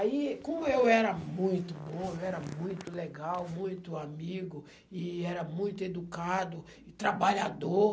Aí, como eu era muito bom, eu era muito legal, muito amigo, e era muito educado, trabalhador...